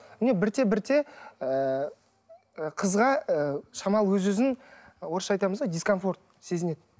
міне бірте бірте ыыы қызға ы шамалы өз өзін орысша айтамыз ғой дискомфорт сезінеді